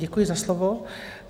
Děkuji za slovo.